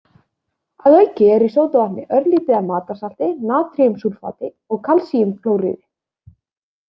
Að auki er í sódavatni örlítið af matarsalti, natríumsúlfati og kalsíumklóríði.